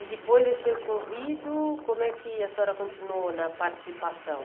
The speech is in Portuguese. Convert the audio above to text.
E depois desse ocorrido, como é que a senhora continuou na participação?